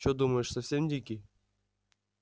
что думаешь совсем дикий